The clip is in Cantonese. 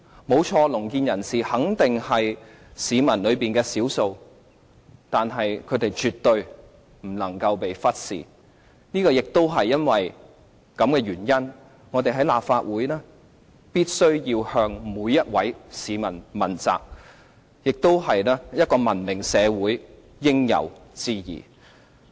沒錯，聾健人士肯定是市民當中的少數，但是，他們絕對不能被忽視，亦因為這個原因，我們在立法會必須向每位市民問責，這亦是一個文明社會應有之義。